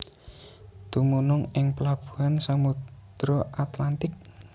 Dumunung ing pelabuhan Samudra Atlantik